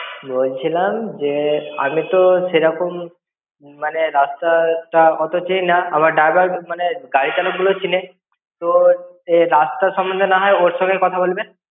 বলছিলাম যে, আমিতো সেরকম মানে রাস্তাটা অত চিনি না। আমার driver মানে গাড়ি চালক গুলো চেনে, তো রাস্তা সম্বন্ধে নাহয় ওর সঙ্গেই কথা বলবেন।